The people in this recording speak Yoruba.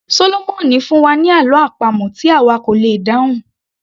Sólómọ̀mì fún wa ní àlọ́ àpamọ̀ tí àwa kò lè dáhùn